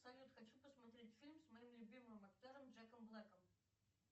салют хочу посмотреть фильм с моим любимым актером джеком блэком